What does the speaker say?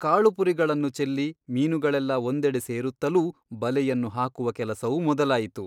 ಕಾಳುಪುರಿಗಳನ್ನು ಚೆಲ್ಲಿ ಮೀನುಗಳೆಲ್ಲಾ ಒಂದೆಡೆ ಸೇರುತ್ತಲೂ ಬಲೆಯನ್ನು ಹಾಕುವ ಕೆಲಸವು ಮೊದಲಾಯಿತು.